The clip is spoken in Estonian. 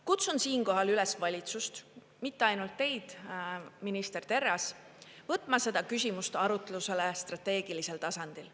Kutsun siinkohal üles valitsust, mitte ainult teid, minister Terras, võtma seda küsimust arutlusele strateegilisel tasandil.